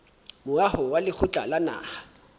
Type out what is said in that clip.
moaho wa lekgotla la naha